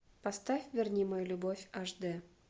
поставь верни мою любовь аш д